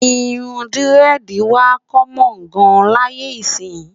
irún diredi wà kommon gán láyé isi